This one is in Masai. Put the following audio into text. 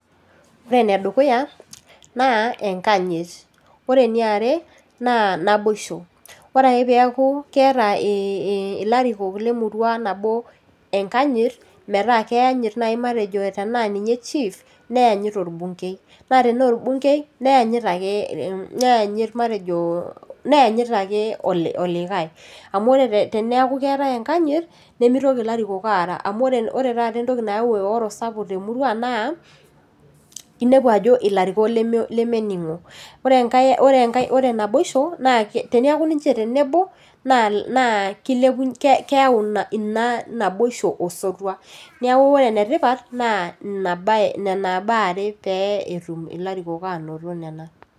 Ore enedukuya naa enkanyit, ore eniare naa naboisho, ore ake peaku keeta ee ilarikok lemurua nabo enkanyit, metaa keanyit naji matejo tenaa ninye chief , neyanyit orbungei, naa tenaa orbungei, neyanyit ake, neyanyit matejo, neyanyit ake, oli, olikae , amu teniaku keetae enkanyit nemitoki ilarikok aara . Ore taata entoki nayau eoro sapuk temurua naa inepu ajo ilarikok leme, leminingo , ore enkae, ore naboisho naa teniaku ninche tenebo naa kilep, naa ke keyau ina ina naboisho osotua. Niaku ore enetipat naa inabae , nena baa are pee etum ilarikok anoto nena.